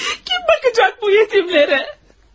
Kim bakacak bu yetimlere?